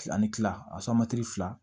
Ani kila fila